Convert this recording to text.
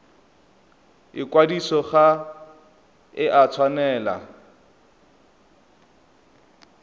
ikwadiso ga e a tshwanela